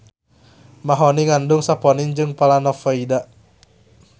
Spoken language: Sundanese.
Mahoni ngandung saponin jeung planovoida